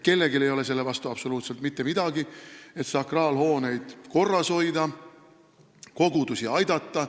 Kellelgi ei ole selle vastu absoluutselt mitte midagi, et sakraalhooneid korras hoida, kogudusi aidata.